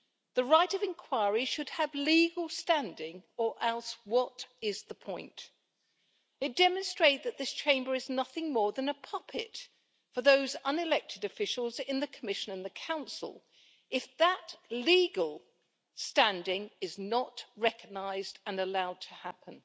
The right of inquiry should have legal standing, or else what is the point? It demonstrates that this Chamber is nothing more than a puppet for those unelected officials in the Commission and the Council if that legal standing is not recognised and allowed to happen.